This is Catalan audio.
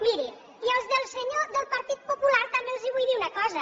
miri i als senyors del partit popular també els vull dir una cosa